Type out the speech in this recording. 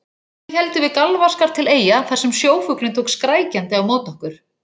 Síðan héldum við galvaskar til Eyja þar sem sjófuglinn tók skrækjandi á móti okkur.